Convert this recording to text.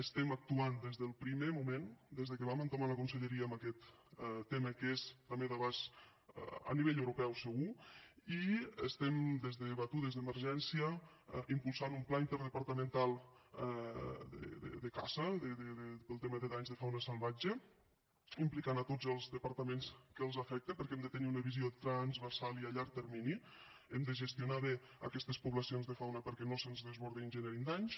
estem actuant des del primer moment des que vam entomar la conselleria en aquest tema que és també d’abast a nivell europeu segur i estem des de batudes d’emergència impulsant un pla interdepartamental de caça pel tema de danys de fauna salvatge implicant tots els departaments que els afecta perquè hem de tenir una visió transversal i a llarg termini hem de gestionar bé aquestes poblacions de fauna perquè no se’ns desbordin i generin danys